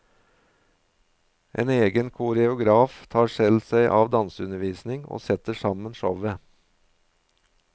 En egen koreograf tar seg av danseundervisning og setter sammen showet.